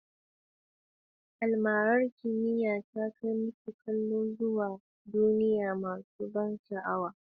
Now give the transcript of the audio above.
Almarar kimiyya ta kai masu kallo zuwa duniya masu ban sha'awa, da ban sha'awa tunani da ban mamaki.